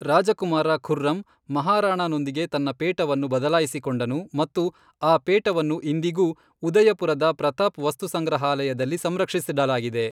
ರಾಜಕುಮಾರ ಖುರ್ರಮ್ ಮಹಾರಾಣಾನೊಂದಿಗೆ ತನ್ನ ಪೇಟವನ್ನು ಬದಲಾಯಿಸಿಕೊಂಡನು ಮತ್ತು ಆ ಪೇಟವನ್ನು ಇಂದಿಗೂ ಉದಯಪುರದ ಪ್ರತಾಪ್ ವಸ್ತುಸಂಗ್ರಹಾಲಯದಲ್ಲಿ ಸಂರಕ್ಷಿಸಿಡಲಾಗಿದೆ.